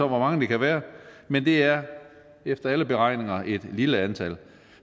hvor mange det kan være men det er efter alle beregninger et lille antal